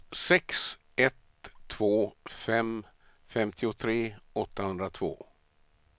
sex ett två fem femtiotre åttahundratvå